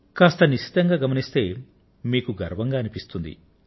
కాస్త నిశితంగా గమనిస్తే మీకు గర్వంగా అనిపిస్తుంది